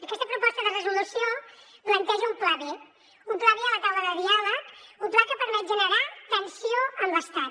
aquesta proposta de resolució planteja un pla b un pla b a la taula de diàleg un pla que permet generar tensió amb l’estat